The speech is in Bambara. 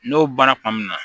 N'o baara kuma min na